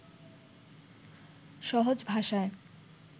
সহজ ভাষায়